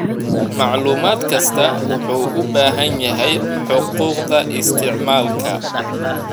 Macluumaad kastaa wuxuu u baahan yahay xuquuqda isticmaalka.